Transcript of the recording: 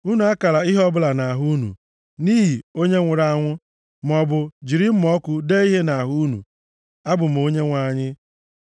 “ ‘Unu akala ihe ọbụla nʼahụ unu, nʼihi onye nwụrụ anwụ maọbụ jiri mma ọkụ dee ihe nʼahụ unu. Abụ m Onyenwe anyị.